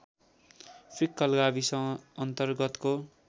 fickle गाविस अन्तरगतको